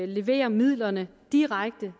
levere midlerne direkte